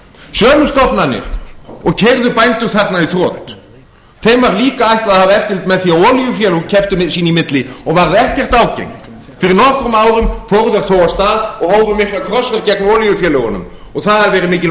sömu stofnunum og keyrðu bændur þarna í þrot var líka ætlað að hafa eftirlit með því að olíufélög kepptu sín í milli og varð ekkert ágengt fyrir nokkrum árum fóru þeir þó af stað og hófu mikla krossferð gegn olíufélögunum og það hafa verið mikil